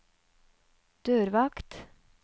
dørvakt